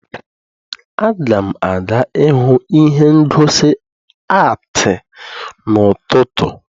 Aga m aga ihụ ihe ngosi atii n'ụtụtụ